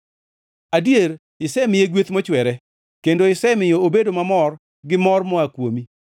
Adier, isemiye gweth mochwere kendo isemiyo obedo mamor gi mor moa kuomi.